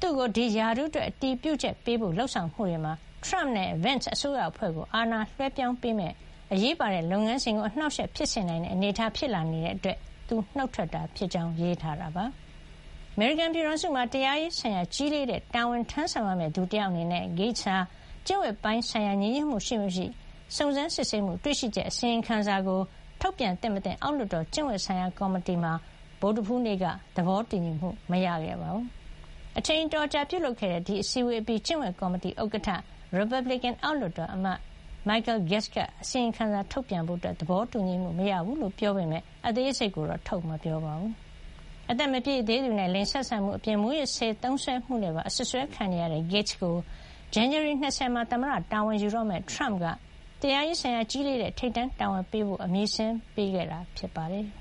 သူ့ကို ဒီရာထူးအတွက် အတည်ပြုချက်ပေးဖို့ လုပ်ဆောင်မှုတွေမှာ ထရမ့်နဲ့ Vence အစိုးရအဖွဲ့ကို အာဏာလွှဲပြောင်းပေးမယ့် အရေးပါတဲ့ လုပ်ငန်းစဉ်ကို အနှောက်အယှက် ဖြစ်စေနိုင်တဲ့ အနေထား ဖြစ်လာနေတာကြောင့် သူနှုတ်ထွက်တာ ဖြစ်ကြောင်း ရေးထားတာပါ။ အမေရိကန် ပြည်ထောင်စုမှာ တရားရေး ဆိုင်ရာ ကြီးလေးတဲ့ တာဝန်ထမ်းဆောင်ရမယ့် သူတယောက်အနေနဲ့ Gaetz ဟာ ကျင့်ဝတ်ပိုင်း ဆိုင်ရာ ညီညွတ်မှု ရှိမရှိ စုံစမ်းစစ်ဆေးမှု- တွေ့ရှိချက် အစီရင်ခံစာကို ထုတ်ပြန်သင့်မသင့် အောက်လွှတ်တော် ကျင့်ဝတ်ဆိုင်ရာ ကော်မတီမှာ ဗုဒ္ဓဟူးနေ့က သဘောတူညီမှု မရခဲ့ပါဘူး။ အချိန်အတော်ကြာ ပြုလုပ်ခဲ့တဲ့ အစည်းဝေးအပြီး ကျင့်ဝတ်ကော်မတီ ဥက္ကဋ္ဌ ရီပတ်ဘလစ်ကန် အောက်လွှတ်တော် အမတ် Michael Guest က အစီရင်ခံစာထုတ်ပြန်ဖို့ သဘောတူညီမှု မရခဲ့ဘူးလို့ ပြောပေမယ့် အသေးစိတ်ကိုတော့ ထုတ်မပြောပါဘူး။ အသက်မပြည့်သေးသူနဲ့ လိင်ဆက်ဆံမှု အပြင် မူးယစ်ဆေး သုံးစွဲမှုနဲ့ပါ အစွပ်စွဲ ခံနေရတဲ့ Gaetz ကို ဇန်နဝါရီ ၂၀ မှာ သမ္မတ တာဝန်ယူတော့မယ့် ထရမ့်က တရားရေးဆိုင်ရာ ကြီးလေးတဲ့ ထိပ်တန်းတာဝန်ပေးအပ်ဖို့ အမည်စာရင်းပေးခဲ့တာ ဖြစ်ပါတယ်။